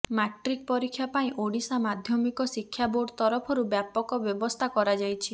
matric ପରୀକ୍ଷା ପାଇଁ ଓଡ଼ିଶା ମାଧ୍ୟମିକ ଶିକ୍ଷା ବୋର୍ଡ ତରଫରୁ ବ୍ୟାପକ ବ୍ୟବସ୍ଥା କରାଯାଇଛି